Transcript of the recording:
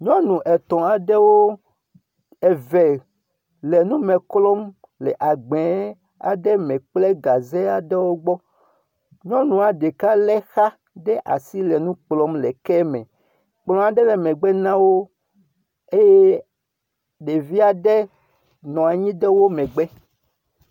Nyɔnu etɔ̃ aɖewo, eve le nu me klɔm le agbɛ aɖe me kple gaze aɖewo gbɔ. Nyɔnua ɖeka lé xa ɖe asi le nu kplɔm le ke me, kplɔ aɖe le megbe na wo eye ɖevi aɖe nɔ anyi ɖe wo megbe.